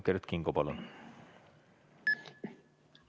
Kert Kingo, palun!